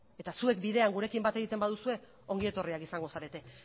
eta zuek bidean gurekin bat egiten baduzue ongi etorriak izango zarete